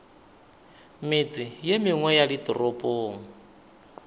metse ye mengwe ya ditoropong